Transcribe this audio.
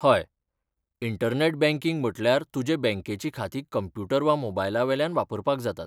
हय, internet banking म्हटल्यार तुजे बँकेची खातीं कंप्युटर वा मोबायलावेल्यान वापरपाक जातात.